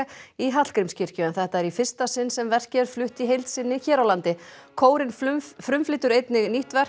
í Hallgrímskirkju en þetta er í fyrsta sinn sem verkið er flutt í heild sinni hér á landi kórinn frumflytur einnig nýtt verk